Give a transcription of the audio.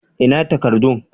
Ina takardun?